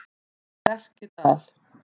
Lerkidal